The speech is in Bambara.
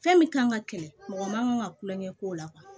Fɛn min kan ka kɛlɛ mɔgɔ ma ka tulonkɛ k'o la